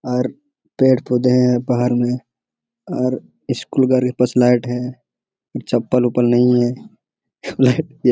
और पेड़-पौधे हैं बाहर में और स्कूल का है चप्पल-वप्पल नहीं है लाइट --